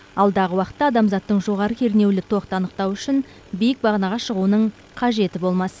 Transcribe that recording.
алдағы уақытта адамзаттың жоғары кернеулі тоқты анықтауы үшін биік бағанаға шығуының қажеті болмас